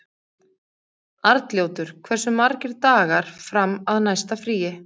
Arnljótur, hversu margir dagar fram að næsta fríi?